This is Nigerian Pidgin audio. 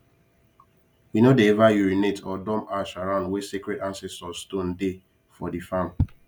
we no dey ever urinate or dump ash around where sacred ancestor stone dey for the farm